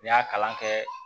N y'a kalan kɛ